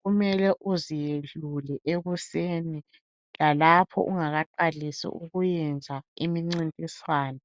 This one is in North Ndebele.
kumele uziyelule ekuseni lalapho ungakaqalisi ukuyenza imincintiswano.